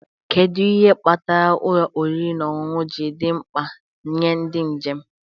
Kedu ihe kpatara ụlọ oriri na ọṅụṅụ ji dị mkpa nye ndị njem?